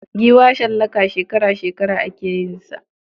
Giwa shallaka shekara -shekara ake yin sa.